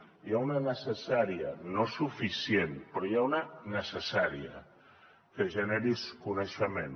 n’hi ha una de necessària no suficient però n’hi ha una necessària que generis coneixement